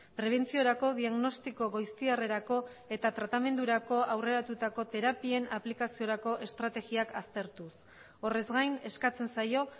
prebentziorako diagnostiko goiztiarrerako eta tratamendurako aurreratutako terapien aplikaziorako estrategiak aztertuz horrez gain eskatzen zaio